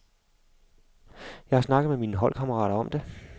Jeg har snakket med mine holdkammerater om det.